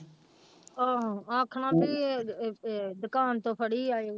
ਆਹੋ ਆਖਣਾ ਵੀ ਇਹ, ਇਹ, ਇਹ ਦੁਕਾਨ ਤੋਂ ਫੜੀ ਆਏ।